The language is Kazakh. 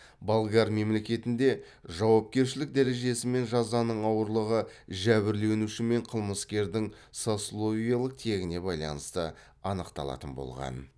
болгар мемлекетінде жауапкершілік дәрежесі мен жазаның ауырлығы жәбірленуші мен қылмыскердің сословиелік тегіне байланысты анықталатын болған